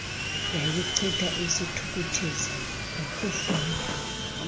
yayichitha isithukuthezi ngokufunda